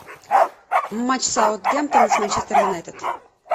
матч саутгемптон с манчестер юнайтед